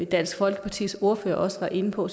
dansk folkepartis ordfører også var inde på